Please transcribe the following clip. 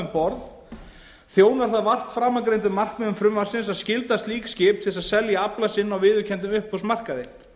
um borð þjónar það vart framangreindum markmiðum frumvarpsins að skylda slík skip til þess að selja afla sinn á viðurkenndum uppboðsmarkaði